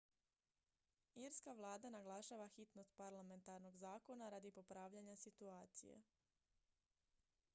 irska vlada naglašava hitnost parlamentarnog zakona radi popravljanja situacije